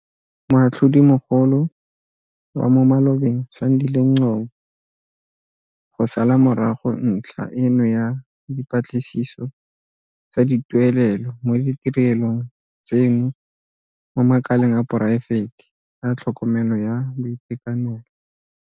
Moatlhodimo golo wa mo malobeng Sandile Ngcobo go sala morago ntlha eno ya dipatlisiso tsa dituelelo mo ditirelong tseno mo makaleng a poraefete a tlhokomelo ya boitekanelo.